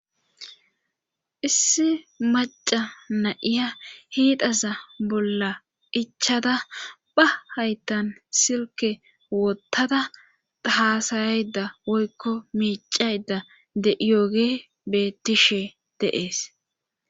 issi maca na'iya hiidaza bolla ichada ba haytan silke wottada aasayayda woykko miicayda de'iyoogey bettishe de'ees